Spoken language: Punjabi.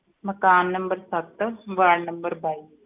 ਮਕਾਨ number ਸੱਤ ਵਾਰਡ number ਬਾਈ।